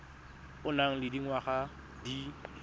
o nang le dingwaga di